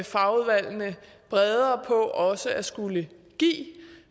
fagudvalgene bredere på også at skulle give